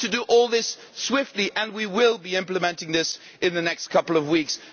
We need to do all this swiftly and we will be implementing this in the next couple of weeks.